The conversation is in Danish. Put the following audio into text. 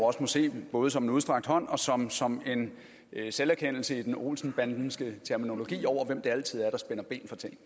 også må se både som en udstrakt hånd og som som en selverkendelse i den olsen bandenske terminologi over hvem det altid er der spænder ben for ting